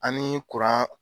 An ni kuran